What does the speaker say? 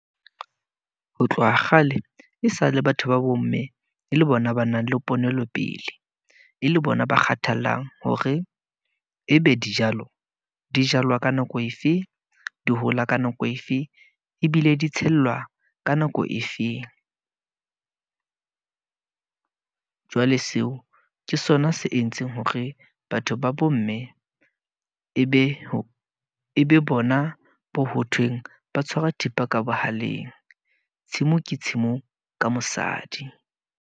Ho tloha kgale e sa le batho ba bo mme e le bona ba nang le ponelo pele, e le bona ba kgathallang hore e be dijalo di jalwa ka nako efe, di hola ka nako efe, ebile di tshellwa ka nako efeng. Jwale seo ke sona se entseng hore batho ba bo mme e be e be bona bo hothweng ba tshwara thipa ka bohaleng. Tshimo ke tshimo ka mosadi.